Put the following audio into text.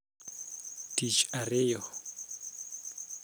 Tich ariyo